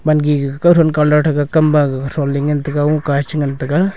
gan gigi kao thon colour thaga kam gaga thong le ngan taga woga cha ngan taga.